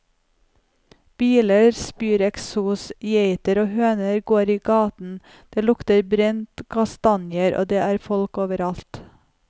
Biler spyr eksos, geiter og høner går i gaten, det lukter brente kastanjer og det er folk overalt.